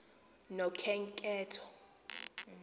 nokhenketho